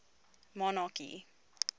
monarchy